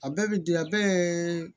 A bɛɛ bi diya bɛɛ